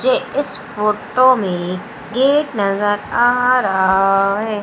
मुझे इस फोटो में गेट नजर आ रहा है।